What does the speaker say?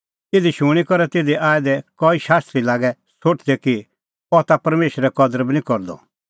इहअ शूणीं करै तिधी आऐ दै कई शास्त्री लागै सोठदै कि अह ता परमेशरे कदर बी निं करदअ